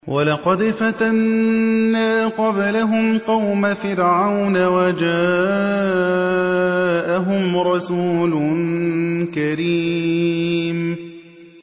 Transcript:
۞ وَلَقَدْ فَتَنَّا قَبْلَهُمْ قَوْمَ فِرْعَوْنَ وَجَاءَهُمْ رَسُولٌ كَرِيمٌ